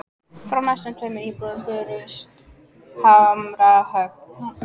Frá næstu tveimur íbúðum bárust hamarshögg.